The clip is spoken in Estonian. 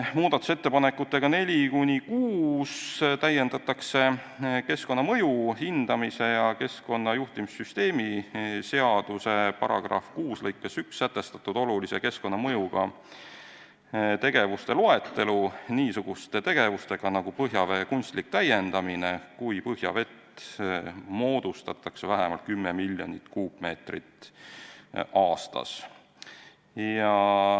Muudatusettepanekutega nr 4–6 täiendatakse keskkonnamõju hindamise ja keskkonnajuhtimissüsteemi seaduse § 6 lõikes1 sätestatud olulise keskkonnamõjuga tegevuste loetelu niisuguse tegevusega nagu põhjavee kunstlik täiendamine, kui põhjavett moodustatakse vähemalt 10 miljonit kuupmeetrit aastas.